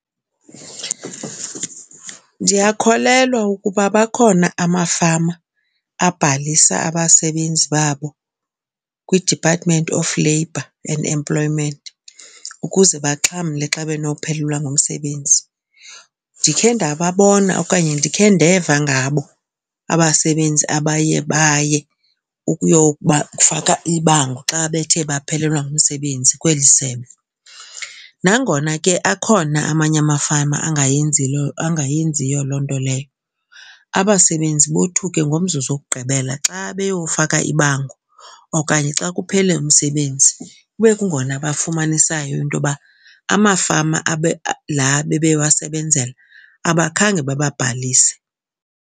Ndiyakholelwa ukuba bakhona amafama abhalisa abasebenzi babo kwiDepartment of Labor and Employment ukuze baxhamle xa benophelelwa ngumsebenzi. Ndikhe ndababona okanye ndikhe ndeva ngabo abasebenzi abaye baye ukuyobafaka ibango xa bethe baphelelwa ngumsebenzi kweli sebe. Nangona ke akhona amanye amafama angayenziyo loo nto leyo. Abasebenzi bothuke ngomzuzu wokugqibela xa beyofaka ibango okanye xa kuphele umsebenzi kube kungona bafumanisayo into yoba amafama la bebewasebenzela abakhange bababhalise.